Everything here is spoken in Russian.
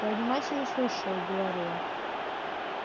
я внимательно слушаю говорю я